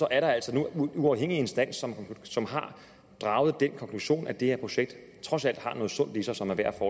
er der altså en uafhængig instans som har draget den konklusion at det her projekt trods alt har noget sundt i sig som er værd at